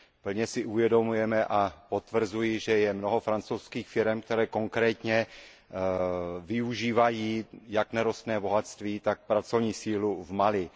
Plně si uvědomujeme a potvrzuji, že je mnoho francouzských firem, které konkrétně využívají jak nerostné bohatství, tak pracovní sílu v Mali.